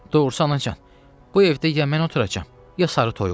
Doğrusu, anacan, ya bu evdə mən oturacam, ya sarı toyuq.